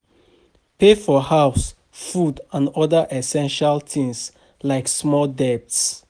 Pay for house, food and oda essestial things like small debts